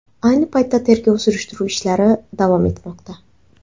Ayni paytda tergov-surishtiruv ishlari davom etmoqda.